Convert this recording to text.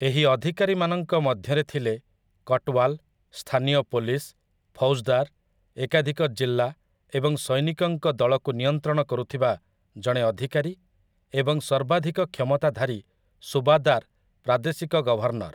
ଏହି ଅଧିକାରୀମାନଙ୍କ ମଧ୍ୟରେ ଥିଲେ କଟୱାଲ, ସ୍ଥାନୀୟ ପୁଲିସ, ଫୌଜଦାର, ଏକାଧିକ ଜିଲ୍ଲା ଏବଂ ସୈନିକଙ୍କ ଦଳକୁ ନିୟନ୍ତ୍ରଣ କରୁଥିବା ଜଣେ ଅଧିକାରୀ ଏବଂ ସର୍ବାଧିକ କ୍ଷମତା ଧାରୀ ସୁବାଦାର ପ୍ରାଦେଶିକ ଗଭର୍ଣ୍ଣର ।